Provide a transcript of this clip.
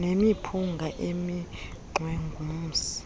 nemiphunga eminxwe ngumsi